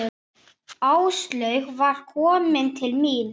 Áslaug var komin til mín.